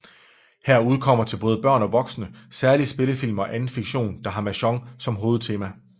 Her udkommer til både børn og voksne særlige spillefilm og anden fiktion der har mahjong som hovedtema